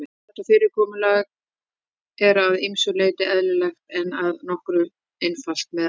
Þetta fyrirkomulag er að ýmsu leyti eðlilegra en að nota einfalt meðaltal.